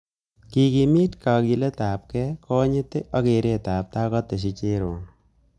Kikimiti kakiletabkei, konyit ak keretabtai kateschi Cherono